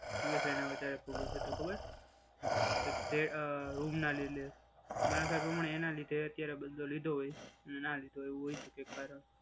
સુરેશ રાયના વચ્ચે ઝઘડો થયો હતો ખબર? કે તે રૂમ ના લીધે ના લીધે મારા ખ્યાલમાં એના લીધે અત્યારે બદલો લીધો હોય. ના લીધો હોય એવું હોઈ શકે કારણ.